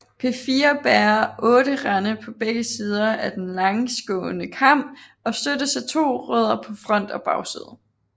P4 bærer otte rande på begge sider af den langsgående kam og støttes af to rødder på front og bagside